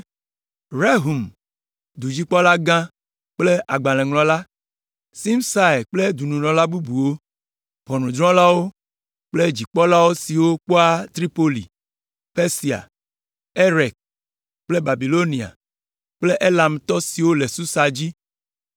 Rehum, dudzikpɔlagã kple agbalẽŋlɔla, Simsai kple dɔnunɔla bubuwo, ʋɔnudrɔ̃lawo kple dudzikpɔla siwo kpɔa Tripoli, Persia, Erek kple Babilonia kple Elamtɔ siwo le Susa dzi,